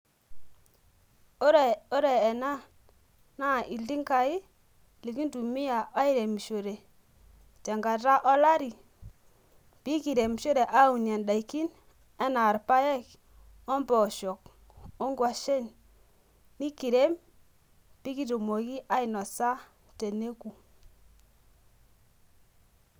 ore ena naa iltingai likintumia airemishore, tenkata olari, pee kintumia anaa idaikin, anaa irpaek, ompoosho, onkwashen, nikirem pee kitumoki ainosa teneku.